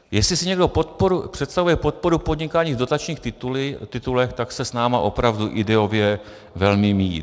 Jestli si někdo představuje podporu podnikání v dotačních titulech, tak se s námi opravdu ideově velmi míjí.